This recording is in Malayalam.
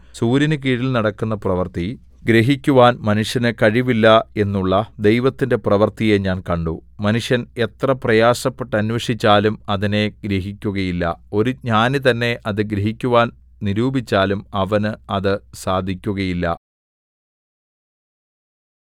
സൂര്യനുകീഴിൽ നടക്കുന്ന പ്രവൃത്തി ഗ്രഹിക്കുവാൻ മനുഷ്യന് കഴിവില്ല എന്നുള്ള ദൈവത്തിന്റെ പ്രവൃത്തിയെ ഞാൻ കണ്ടു മനുഷ്യൻ എത്ര പ്രയാസപ്പെട്ട് അന്വേഷിച്ചാലും അതിനെ ഗ്രഹിക്കുകയില്ല ഒരു ജ്ഞാനി തന്നെ അത് ഗ്രഹിക്കുവാൻ നിരൂപിച്ചാലും അവന് അത് സാധിക്കുകയില്ല